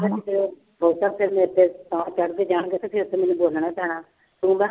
ਬਹੁਤਾ ਫਿਰ ਮੁੜਕੇ ਚੜ੍ਹਦੇ ਜਾਣਗੇ ਤੇ ਫਿਰ ਤੇ ਮੈਨੂੰ ਬੋਲਣਾ ਹੀ ਪੈਣਾ ਤੂੰ